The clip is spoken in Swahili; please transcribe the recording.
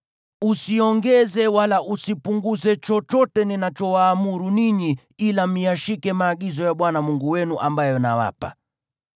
Usiongeze wala usipunguze chochote ninachowaamuru ninyi, ila myashike maagizo ya Bwana Mungu wenu ambayo nawapa.